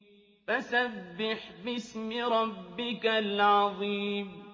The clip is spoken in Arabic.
فَسَبِّحْ بِاسْمِ رَبِّكَ الْعَظِيمِ